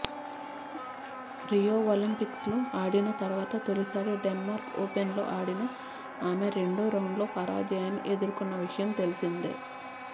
Rio ఒలింపిక్స్లో ఆడిన తర్వాత తొలిసారి డెన్మార్క్ ఓపెన్లో ఆడిన ఆమె రెండో రౌండ్లో పరాజయాన్ని ఎదుర్కొన్న విషయం తెలిసిందే